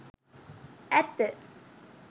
ඇත්ත